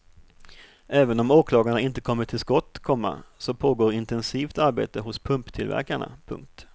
Även om åklagarna inte kommit till skott, komma så pågår intensivt arbete hos pumptillverkarna. punkt